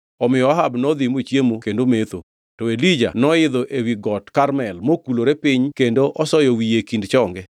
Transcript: Omiyo Ahab nodhi mochiemo kendo metho, to Elija noidho ewi Got Karmel mokulore piny kendo osoyo wiye e kind chonge.